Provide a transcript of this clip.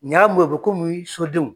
Nin y'a mun ye bɔ sodenw.